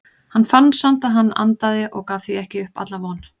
Hann fann samt að hann andaði og gaf því ekki upp alla von.